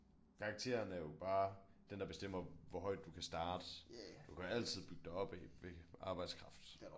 Karakteren er jo bare den der bestemmer hvor højt du kan starte du kan altid bygge dig opad ved arbejdskraft